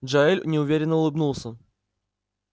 джаэль неуверенно улыбнулся